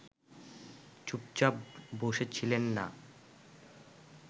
চুপচাপ বসে ছিলেন না